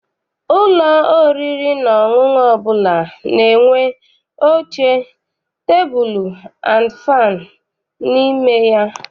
Ụlọ oriri na ọṅụṅụ ọbụla na-enwe oche, tebulu and fannụ n'ime ya.